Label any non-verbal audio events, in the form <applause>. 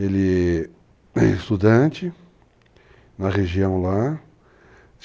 Ele é <coughs> estudante na região lá.